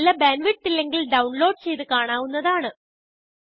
നല്ല bandwidth ഇല്ലെങ്കിൽ download ചെയ്ത് കാണാവുന്നതാണ്